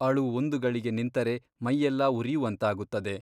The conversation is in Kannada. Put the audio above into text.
ಅಳು ಒಂದು ಗಳಿಗೆ ನಿಂತರೆ ಮೈಯ್ಯೆಲ್ಲಾ ಉರಿಯುವಂತಾಗುತ್ತದೆ.